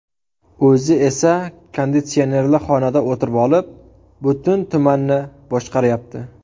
O‘zi esa konditsionerli xonada o‘tirvolib, butun tumanni boshqaryapti.